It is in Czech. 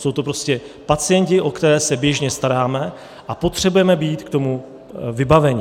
Jsou to prostě pacienti, o které se běžně staráme, a potřebujeme k tomu být vybaveni.